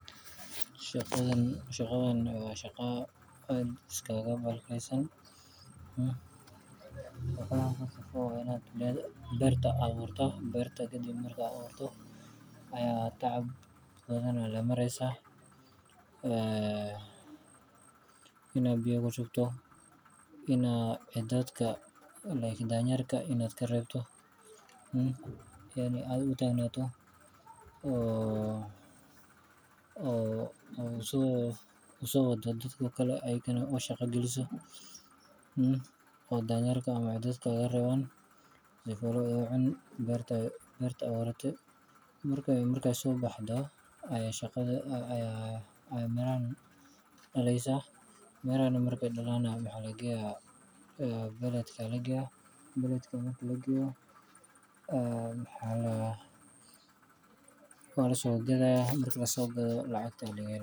Shaqadan waa shaqo aad iskaga bahalaysan. Marka hore waa inaad beerta abuurto. Kadib marka beerta abuurto, tacab badan ayaad la maraysaa, inaad biyo ku shubto, in ciddooyinka sida danyarta aad ka reebto, inaad adhi u tagto oo soo waddo dadka kale oo u shaqo geliso, oo danyarta dadka ka reebaan si aysan u cunin beerta aad abuuratay. Marka ay soo baxdo ayay mirahan dhalaysaa. Miraha markay dhalaan maxaa la geeyaa? Magaalada. Magaalada marka la geeyo waa la soo gadayaa. Marka la soo gado, lacag ayaa laga helayaa.